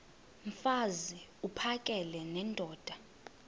mfaz uphakele nendoda